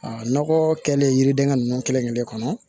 A nɔgɔ kɛlen yiridenkɛ ninnu kelen-kelen kɔnɔ